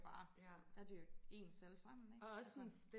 bare der er det jo ens alle sammen ikke altså